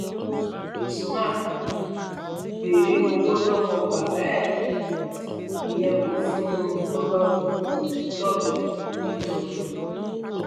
usman um béèrè owó lọwọ bàbá ẹ um ìyẹn kó fún un ló bá gún un lọbẹ nídọdọ